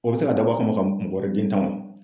O bɛ se k'a dabɔ a kama mɔgɔ wɛrɛ den tan wa?